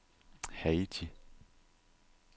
Haiti